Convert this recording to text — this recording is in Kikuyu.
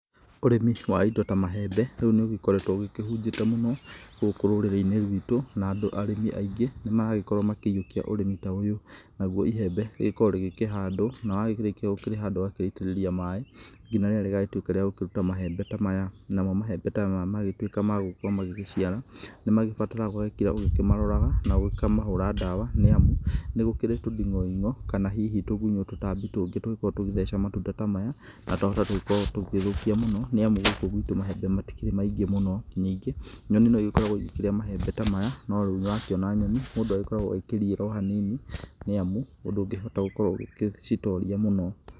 Ũrĩmĩ wa indo ta maembe rĩu nĩ ũgĩkoretwo ũkĩhũnjĩtie mũno hũkũ rũrĩrĩ-inĩ rũitũ na arĩmi aingĩ nĩ marakorwo makĩiyukia ũrĩmi ta ũyũ ,nagũo iyembe rĩkoragwo rĩkĩhandwo na wakĩrĩkia kũrĩhanda ũgakĩrĩitĩrĩria maĩ nginya rĩrĩa rĩgakinya rĩa kũrũta maembe ta maya ,namo maembe ta maya matuĩka magũkorwo magĩgĩciara nĩ magĩbataraga ũgatinda ũkĩmaroraga na ũgakĩmahũra ndawa nĩ amu nĩ gũkĩrĩ tũndigo-ing'o kana hihi tũgũnyo tũtambi tũngĩ tũngĩkorwo tũgĩtheca matunda ta maya na twahota gũkorwo tũgĩthũkia mũno nĩamũ gũkũ gwĩtũ maembe matikĩrĩ maingĩ mũno, ningĩ nyoni no igĩkoragwo ikĩrĩa maembe ta maya no rĩu nĩ ũrakiona nyoni mũndũ akoragwo akirigĩrwo hanini nĩamũ ndũngĩhota gũkorwo ũgĩcitoria mũno.